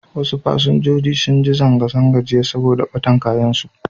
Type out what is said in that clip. Wasu fasinjoji sun ji zanga-zanga jiya saboda ɓatan kayansu.